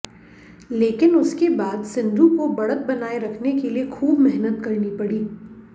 लेकिन उसके बाद सिंधु को बढ़त बनाए रखने के लिए खूब मेहनत करनी पड़ी